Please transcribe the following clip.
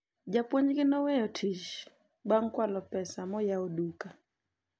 mwalimu wao aliacha kazi baada ya kuiba pesa nyingi na kufungua duka kubwa